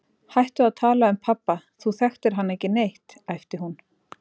Hættu að tala um pabba, þú þekktir hann ekki neitt, æpti hún.